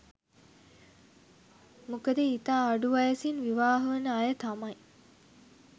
මොකද ඉතා අඩු වයසෙන් විවාහ වන අය තමයි